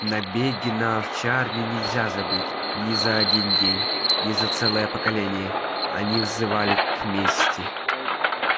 набеги на овчарни нельзя забыть ни за один день ни за целое поколение они взывали к мести